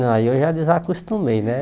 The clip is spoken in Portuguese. Não, aí eu já desacostumei, né?